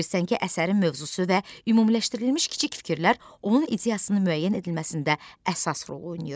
Bilirsən ki, əsərin mövzusu və ümumiləşdirilmiş kiçik fikirlər onun ideyasının müəyyən edilməsində əsas rol oynayır.